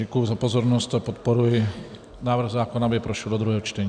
Děkuji za pozornost a podporuji návrh zákona, aby prošel do druhého čtení.